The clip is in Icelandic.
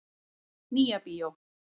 Nýja bíó.